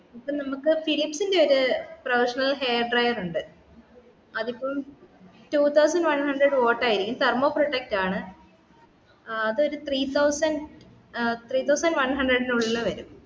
ഇപ്പം നമ്മക് ഫിലിപ്സ് ൻറ്റെ ഒരു professional hair dryer ഉണ്ട് അതിപ്പോ two thousand one hundred volt ആയിരിക്കും thermo protect ആണ് അതു ഒരു three thousand ഏർ three thousand one hundred ൻറ്റെ ഉള്ളില് വരും